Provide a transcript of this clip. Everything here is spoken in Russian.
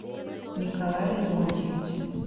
николае леонтьевиче